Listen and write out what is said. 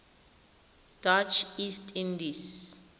dutch east indies